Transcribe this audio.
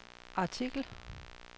artikel